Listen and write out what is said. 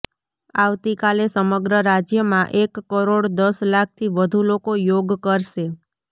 આવતી કાલે સમગ્ર રાજ્યમાં એક કરોડ દસ લાખથી વધુ લોકો યોગ કરશે